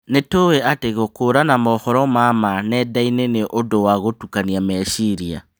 Nĩtũĩ atĩ gũkũrana mohoro ma maa nendainĩ nĩ ũndũ wa gũtukania meciria